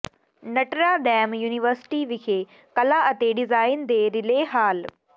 Notre Dame University ਵਿਖੇ ਕਲਾ ਅਤੇ ਡਿਜ਼ਾਈਨ ਦੇ ਰਿਲੇ ਹਾਲ